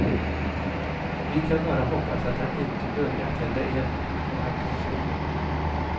Vi kan bara hoppas att han inte börjar tända eld där han tar sig in.